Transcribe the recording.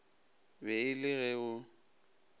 be e le ge o